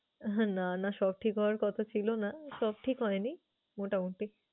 না না, সব ঠিক হওয়ার কথা ছিল না সব ঠিক হয়নি, মোটামুটি।